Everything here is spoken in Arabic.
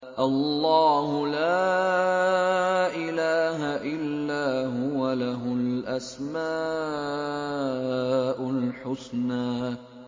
اللَّهُ لَا إِلَٰهَ إِلَّا هُوَ ۖ لَهُ الْأَسْمَاءُ الْحُسْنَىٰ